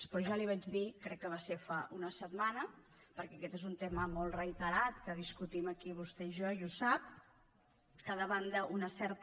però ja li vaig dir crec que va ser fa una setmana perquè aquest és un tema molt reiterat que discutim aquí vostè i jo i ho sap que davant d’una certa